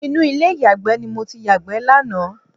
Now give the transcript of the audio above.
Inú ilé ìyàgbẹ́ ni mo ti yàgbẹ́ lánàá